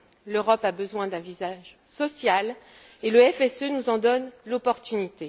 L'Europe a besoin d'un visage social et le FSE nous en donne l'opportunité.